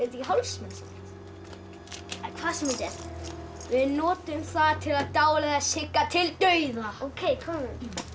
hálsmen samt hvað sem þetta er við notum það til að dáleiða Sigga til dauða ókei komum